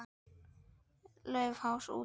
Laufás út.